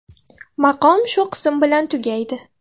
Maqom shu qism bilan tugaydi.